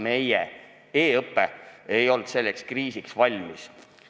Meie e-õpe ei olnud selleks kriisiks valmis.